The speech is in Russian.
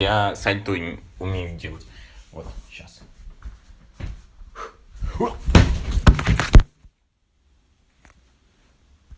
я сальто умею делать вот сейчас